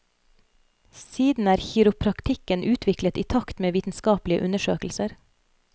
Siden er kiropraktikken utviklet i takt med vitenskapelige undersøkelser.